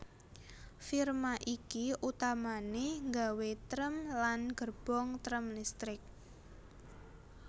Firma iki utamané nggawé trèm lan gerbong trèm listrik